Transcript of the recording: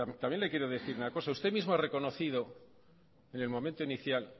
también le quiero decir una cosa usted mismo ha reconocido en el momento inicial